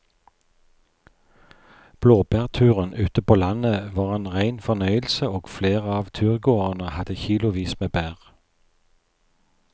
Blåbærturen ute på landet var en rein fornøyelse og flere av turgåerene hadde kilosvis med bær.